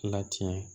Latiɲɛ